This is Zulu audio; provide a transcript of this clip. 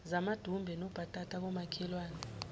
zamadumbe nobhatata komakhelwane